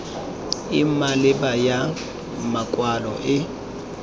e maleba ya makwalo e